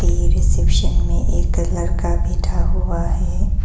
ये रिसेप्शन में एक लड़का बैठा हुआ है।